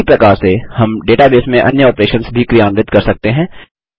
उसी प्रकार से हम डेटाबेस में अन्य ऑपरेशंस भी क्रियान्वित कर सकते हैं